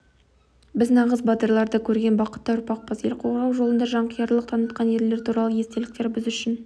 біз нағыз батырларды көрген бақытты ұрпақпыз ел қорғау жолында жанқиярлық танытқан ерлер туралы естеліктер біз үшін